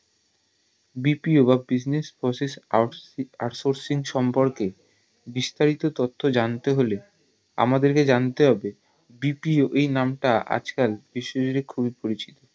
BPO বা business process out sourcing সম্পর্কে বিস্তারিত তত্থ জানতে হলে আমাদেরকে জানতে হবে BPO এই নাম তা আজ কাল বিশ্ব জুড়ে খুবই পরিচিত